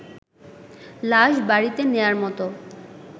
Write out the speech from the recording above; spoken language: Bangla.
লাশ বাড়িতে নেয়ার মতো